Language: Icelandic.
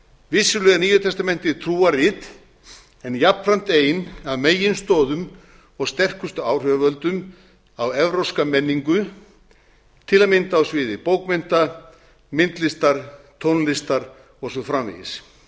vissulega er nýja testamentið trúarrit en jafnframt ein af meginstoðum og sterkustu áhrifavöldum á evrópska menningu til að mynda á sviði bókmennta myndlistar tónlistar og svo framvegis